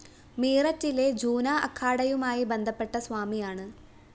മീററ്റിലെ ജൂന അഖാഡയുമായി ബന്ധപ്പെട്ട സ്വാമിയാണ്